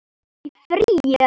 Í frí. eða?